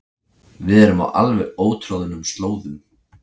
Við erum á alveg ótroðnum slóðum